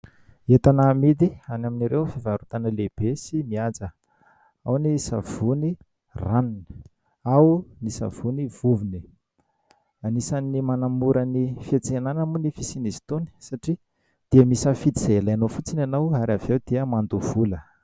Entana amidy any amin'ireo fivarotana lehibe sy mihaja ao ny savony ranony ao ny savony vovony. Anisany manamora ny fiantsenana moa ny fisiany izy itony satria dia misafidy izay ilainao fotsiny ianao ary avy ao dia mandoa vola.